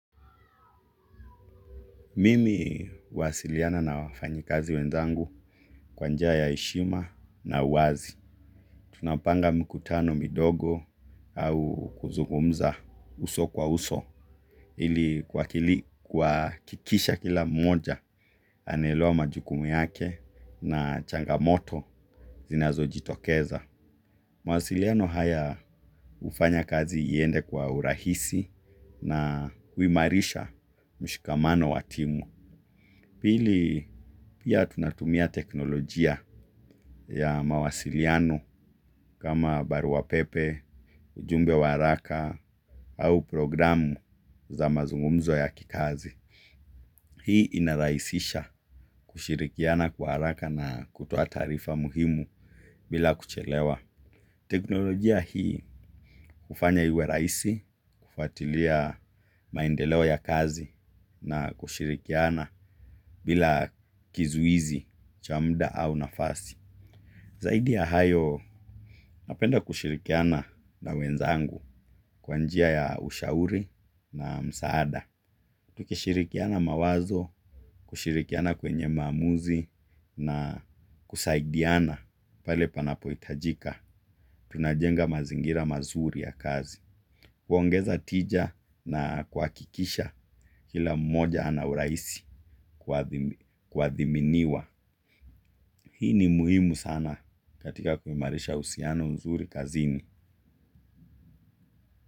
Mimi huwasiliana na wafanyakazi wenzangu kwa njia ya heshima na uwazi. Tunapanga mikutano, midogo au kuzugumza uso kwa uso. Ili kuhakikisha kila mmoja ameelewa majukumu yake na changamoto zinazojitokeza. Mawasiliano haya hufanya kazi iende kwa urahisi na kuimarisha mshikamano wa timu. Pili pia tunatumia teknolojia ya mawasiliano kama barua pepe, ujumbe wa haraka au programu za mazungumzo ya kikazi. Hii inarahisisha kushirikiana kwa haraka na kutoa taarifa muhimu bila kuchelewa. Teknolojia hii kufanya iwe rahisi kufatilia maendeleo ya kazi na kushirikiana bila kizuizi cha muda au nafasi. Zaidi ya hayo napenda kushirikiana na wenzangu kwa njia ya ushauri na msaada. Tukishirikiana mawazo, kushirikiana kwenye maamuzi na kusaidiana pale panapohitajika. Tunajenga mazingira mazuri ya kazi, kuongeza tija na kuhakikisha kila mmoja ana urahisi, kuamimiwa. Hii ni muhimu sana katika kuimarisha uhusiano mzuri kazini.